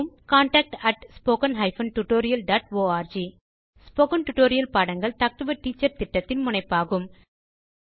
contact spoken hyphen tutorial dot org spoken tutorial பாடங்கள் talk to a teacher திட்டத்தின் முனைப்பாகும்